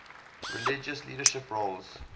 religious leadership roles